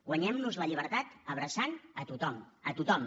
guanyem nos la llibertat abraçant a tothom a tothom